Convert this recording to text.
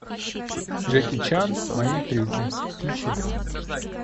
джеки чан мои трюки включи